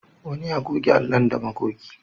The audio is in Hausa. Wani ya goge allon da magogi.